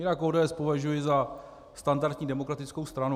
Jinak ODS považuji za standardní demokratickou stranu.